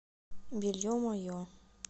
белье мое